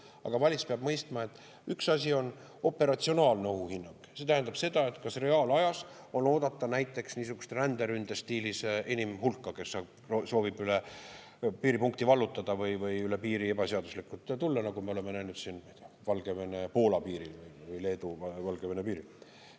Aga valitsus peab mõistma, et üks asi on operatsionaalne ohuhinnang, see tähendab seda, kas reaalajas on oodata näiteks niisugust ränderünde stiilis inimhulka, kes soovib piiripunkti vallutada või üle piiri ebaseaduslikult tulla, nagu me oleme näinud Valgevene ja Poola piiril või Leedu ja Valgevene piiril.